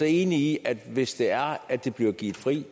enig i at den hvis det er at det bliver givet fri